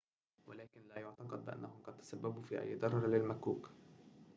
ولكن لا يُعتقد بأنهم قد تسبّبوا في أي ضرر للمكّوك